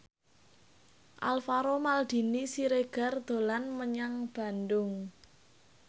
Alvaro Maldini Siregar dolan menyang Bandung